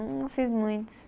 Não fiz muitos.